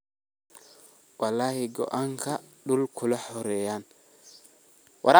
Wlxi gonga dul kulaxoreyna.